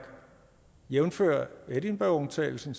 jævnfør edinburghaftalen som